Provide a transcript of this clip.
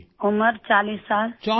عمر 40 سال